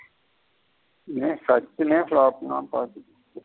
ஏன் சச்சினே flop ன பாத்துக்கோ.